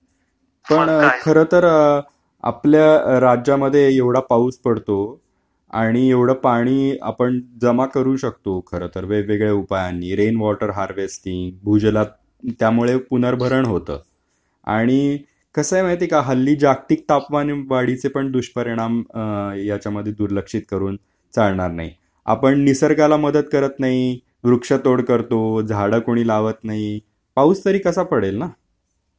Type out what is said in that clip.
मग काय पण खरं तर...आपल्या राज्यामध्ये एवढा पाऊस पडतो आणि एवढ पाणी आपण जमा करू शकतो खरतर वेगवेगळ्या उपायांनी रेन वॉटर हार्वेस्टिंग भूजलात त्यामुळे पुनर्भरण होत आणि कसंय माहितीये का हल्ली जागतिक तापमान वाढीचे पण दुष:परिणाम अ ह्याच्यामधे दुर्लक्षित करून चालणार नाही आपण निसर्गाला मदत करत नाही वृक्षतोड करतो झाड कुणी लावत नाही पाऊस तरी कसा पडेल ना...